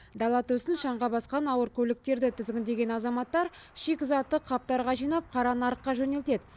дала төсін шаңға басқан ауыр көліктерді тізгіндеген азаматтар шикізатты қаптарға жинап қара нарыққа жөнелтеді